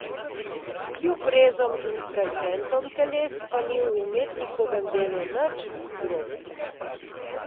Kljub rezom in fragmentom teles pa ni v umetnikovem delu nič grobega.